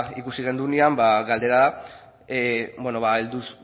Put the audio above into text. ikusi genuenean ba galdera heldu